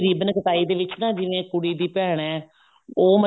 ਨਹੀਂ ribbon ਕਟਾਈ ਦੇ ਵਿੱਚ ਨਾ ਜਿਵੇਂ ਕੁੜੀ ਦੀ ਭੈਣ ਹੈ ਉਹ